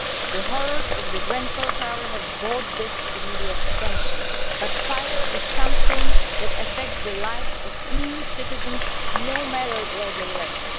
The horrors of Grenfell Tower have brought this to the media's attention, but fire is something that affects the lives of EU citizens no matter where they live.